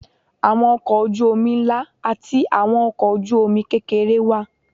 Àwọn ọkọ̀ ojú omi ńlá àti àwọn ọkọ ojú omi kékeré wà.